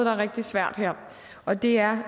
er rigtig svært her og det er